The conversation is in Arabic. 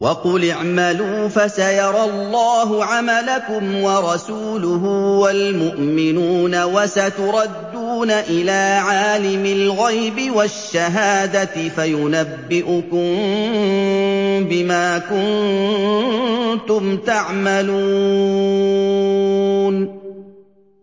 وَقُلِ اعْمَلُوا فَسَيَرَى اللَّهُ عَمَلَكُمْ وَرَسُولُهُ وَالْمُؤْمِنُونَ ۖ وَسَتُرَدُّونَ إِلَىٰ عَالِمِ الْغَيْبِ وَالشَّهَادَةِ فَيُنَبِّئُكُم بِمَا كُنتُمْ تَعْمَلُونَ